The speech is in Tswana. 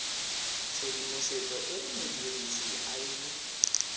tshedimosetso e modirisi a e